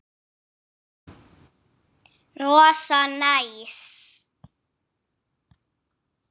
Rosa næs.